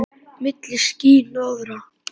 Milli ský- hnoðra.